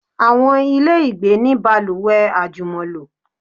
Àwọn ilé ìgbé ní balùwẹ̀ àjùmọ̀lò.